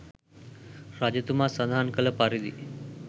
රජතුමා සඳහන් කළ පරිදි